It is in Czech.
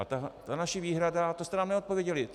A ta naše výhrada, to jste nám neodpověděli.